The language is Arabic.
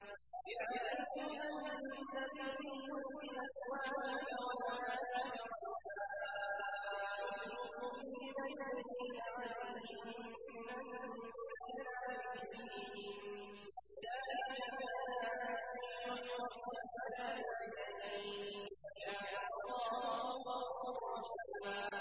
يَا أَيُّهَا النَّبِيُّ قُل لِّأَزْوَاجِكَ وَبَنَاتِكَ وَنِسَاءِ الْمُؤْمِنِينَ يُدْنِينَ عَلَيْهِنَّ مِن جَلَابِيبِهِنَّ ۚ ذَٰلِكَ أَدْنَىٰ أَن يُعْرَفْنَ فَلَا يُؤْذَيْنَ ۗ وَكَانَ اللَّهُ غَفُورًا رَّحِيمًا